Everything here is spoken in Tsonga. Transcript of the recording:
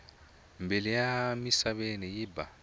mbilu ya misaveni yi ba